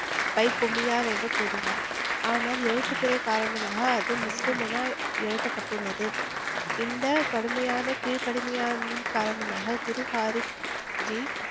என்று கூறினார். ஆனால் எழுத்துப்பிழை காரணமாக அது முஸ்லிம் என எழுதப்பட்டுள்ளது. இந்த கடுமையான கீழ்கடுமையான காரணமாக குருஹாரிப்ஜி